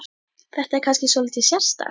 Þetta er kannski svolítið sérstakt?